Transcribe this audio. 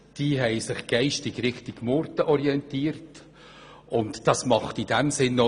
Sie haben sich geistig Richtung Murten orientiert, und das macht auch Sinn.